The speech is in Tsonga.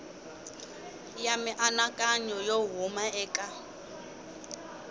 ya mianakanyo yo huma eka